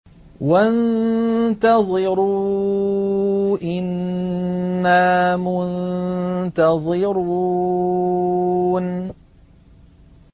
وَانتَظِرُوا إِنَّا مُنتَظِرُونَ